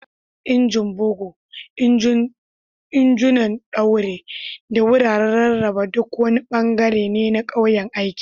Injin bugu, injunan ɗaure, da wuraren rarraba duk wani ɓangare ne na kayan aikin.